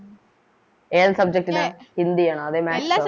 ഏത് Subject ലാ ഹിന്ദിയാണോ അതോ Maths ഓ